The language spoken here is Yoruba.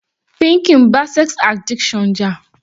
Pinky ń bá sex addiction jà.